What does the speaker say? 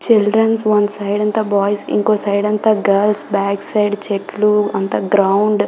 Children's one side అంత boys ఇంకో side అంత గర్ల్స్ బ్యాక్ సైడ్ చెట్లు అంత గ్రౌండ్ .